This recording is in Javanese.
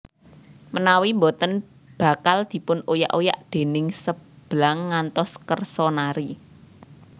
Menawi boten bakal dipun oyak oyak déning Seblang ngantos kersa nari